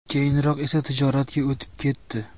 Keyinroq esa tijoratga o‘tib ketdi.